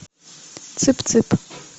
цып цып